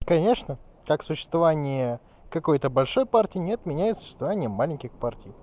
конечно так существование какой-то большой партии не отменяет существование маленьких партий